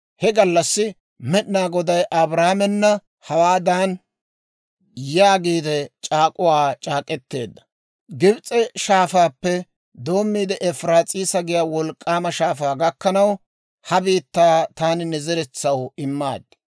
He gallassi Med'inaa Goday Abraamena hawaadan yaagiide c'aak'k'uwaa c'aak'k'eteedda; «Gibis'e Shaafaappe doommiide Efiraas'iisa giyaa wolk'k'aama shaafaa gakkanaw, ha biittaa taani ne zeretsaw immaad;